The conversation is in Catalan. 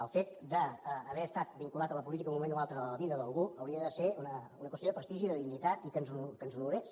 el fet d’haver estat vinculat a la política en un moment o altre de la vida d’algú hauria de ser una qüestió de prestigi i de dignitat i que ens honorés